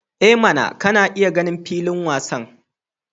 I mana! kana iya ganin filin wasan.